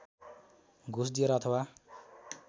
घुस दिएर अथवा